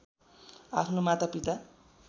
आफ्नो माता पिता